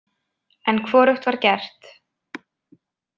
En hvorugt var gert.